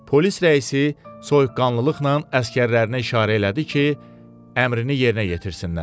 Polis rəisi soyuqqanlılıqla əsgərlərinə işarə elədi ki, əmrini yerinə yetirsinlər.